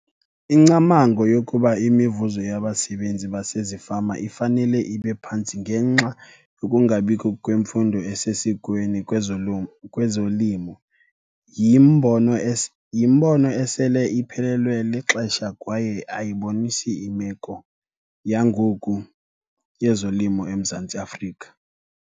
Ingcamango yokuba imivuzo yabasebenzi basezifama ifanele ibe phantsi ngenxa yokungabikho kwemfundo esesikweni kwezolimo yimbono yimbono esele iphelelwe lixesha kwaye ayibonisi imeko yangoku yezolimo eMzantsi Afrika.